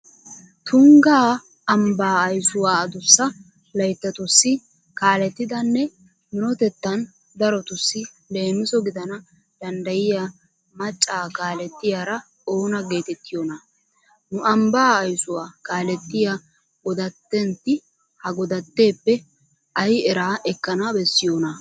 Tungga ambbaa aysuwa adussa layttatussi kaalettidanne minotettan darotussi leemiso gidana danddayiya macca kaalettiyara oona geetettiyonaa? Nu ambbaa aysuwa kaalettiya godattentti ha godatteeppe ay eraa ekkana bessiyonaa?